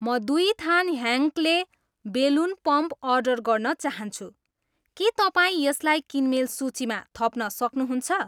म दुई थान ह्यान्क्ले बेलुन पम्प अर्डर गर्न चाहन्छु, के तपाईँ यसलाई किनमेल सूचीमा थप्न सक्नुहुन्छ?